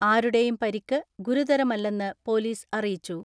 ആരുടെയും പരിക്ക് ഗുരുതരമല്ലെന്ന് പൊലീസ് അറിയിച്ചു.